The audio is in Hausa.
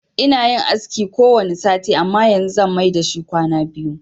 Ina yin aski kowanne sati amma yanzu zan mai dashi kwana biyu.